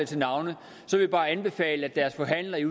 til navne vil jeg bare anbefale at deres forhandler i